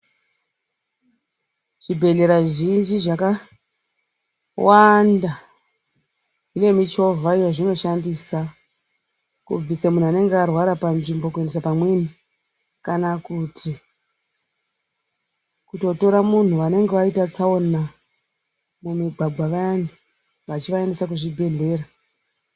Zvibhedhlera zvizhinji, zvakawanda, zvine michovha yavanoshandisa, kubvisa muntu anenge arwara panzvimbo kuendesa pamweni. Kana kuti kutotora muntu anenge aita tsaona mumigwagwa vayani, vachivaendesa kuzvibhedhlera.